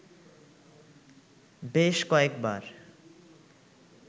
বেশ কয়েক বার